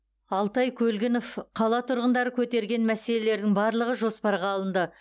алтай көлгінов қала тұрғындары көтерген мәселелердің барлығы жоспарға алынды